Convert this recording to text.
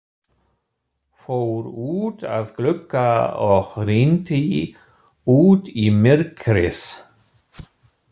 Fór út að glugga og rýndi út í myrkrið.